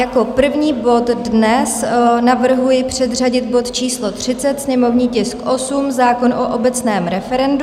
Jako první bod dnes navrhuji předřadit bod číslo 30, sněmovní tisk 8, zákon o obecném referendu.